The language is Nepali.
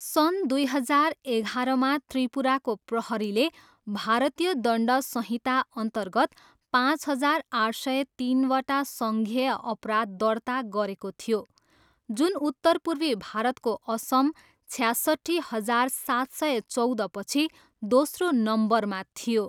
सन् दुई हजार एघारमा त्रिपुराको प्रहरीले भारतीय दण्ड संहिताअन्तर्गत पाँच हजार आठ सय तिनवटा संज्ञेय अपराध दर्ता गरेको थियो, जुन उत्तर पूर्वी भारतको असम, छ्यासट्ठी हजार सात सय चौधपछि दोस्रो नम्बरमा थियो।